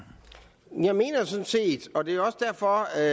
ud fra at